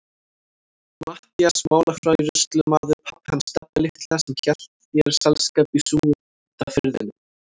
Matthías málafærslumaður, pabbi hans Stebba litla sem hélt þér selskap í Súgandafirðinum.